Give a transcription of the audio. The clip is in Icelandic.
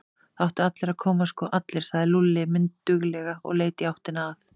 Það áttu allir að koma, sko allir, sagði Lúlli mynduglega og leit í áttina að